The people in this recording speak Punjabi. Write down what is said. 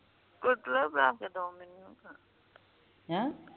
ਹੈਂ